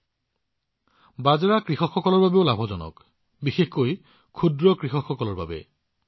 আৰু বন্ধুসকল আপোনালোকে ভালদৰে জানে বাজৰা কৃষকসকলৰ বাবেও লাভজনক আৰু সেয়াও বিশেষকৈ ক্ষুদ্ৰ কৃষকসকলৰ বাবে